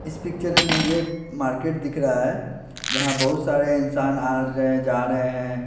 इस पिक्चर में मुझे एक मार्केट दिख रहा है यहां बहुत सारे इंसान आ रहे हैं जा रहे हैं।